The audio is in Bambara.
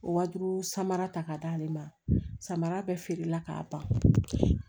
O wa duuru samara ta ka d'ale ma samara bɛɛ feerela k'a ban